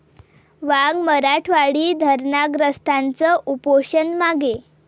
वांग मराठवाडी धरणग्रस्तांचं उपोषण मागे